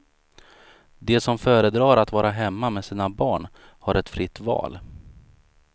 De som föredrar att vara hemma med sina barn har ett fritt val.